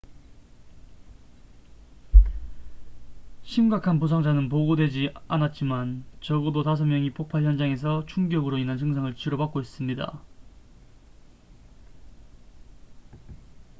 심각한 부상자는 보고되지 않았지만 적어도 5명이 폭발 현장에서 충격으로 인한 증상을 치료받고 있습니다